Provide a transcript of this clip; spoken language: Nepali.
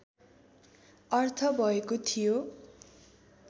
अर्थ भएको थियो